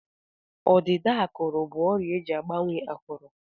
Ọdịda ákụ̀rụ̀ bụ ọrịa eji agbanwe ákụ̀rụ̀.